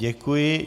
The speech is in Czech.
Děkuji.